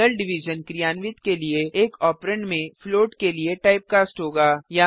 real division क्रियान्वित के लिए एक ऑपरेंड में फ्लोट के लिए टाइप कास्ट होगा